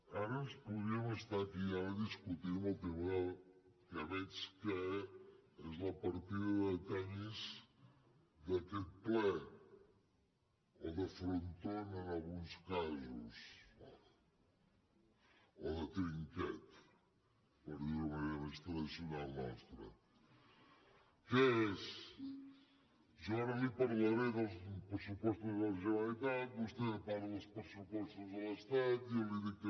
ara ens podríem estar aquí discutint amb el tema que veig que és la partida de tenis d’aquest ple o de frontó en alguns casos o de trinquet per dir ho d’una manera més tradicional nostra que és jo ara li parlaré dels pressupostos de la generalitat vostè parla dels pressupostos de l’estat jo li dic que